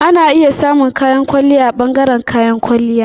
Ana iya samun kayan kwalliya a ɓangaren kayan kwalliya.